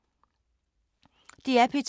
DR P2